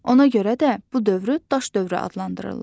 Ona görə də bu dövrü daş dövrü adlandırırlar.